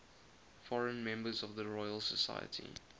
foreign members of the royal society